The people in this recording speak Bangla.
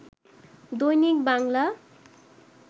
দৈনিক বাংলা